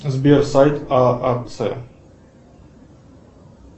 сбер сайт аац